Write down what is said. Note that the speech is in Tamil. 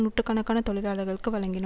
நூட்டுக்கணக்கான தொழிலாளர்களுக்கு வழங்கினோ